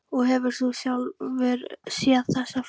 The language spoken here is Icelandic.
Og hefur þú sjálfur séð þessa fugla?